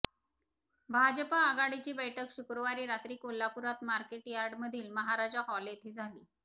भाजप आघाडीची बैठक शुक्रवारी रात्री कोल्हापुरात मार्केट यार्डमधील महाराजा हॉल येथे झाली